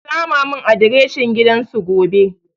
Ki sama mun adireshin gidan su gobe